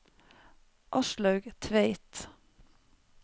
Aslaug Tveit